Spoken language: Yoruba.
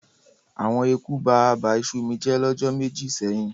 Awon eku ba àbà iṣu mi jẹ́ lọ́jọ́ méjì sẹ́yìn.